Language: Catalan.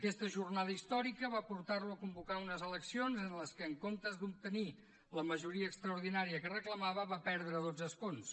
aquesta jornada històrica va portar lo a convocar unes eleccions en què en comptes d’obtenir la majoria extraordinària que reclamava va perdre dotze escons